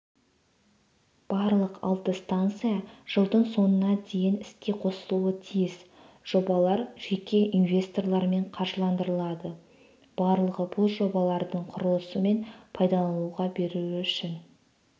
барлық алты станция жылдың соңына дейін іске қосылуы тиіс жобалар жеке инвесторлармен қаржыландырылады барлығы бұл жобалардың құрылысы мен пайдалануға беру үшін